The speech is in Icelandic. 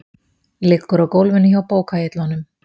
Liggur á gólfinu hjá bókahillunum.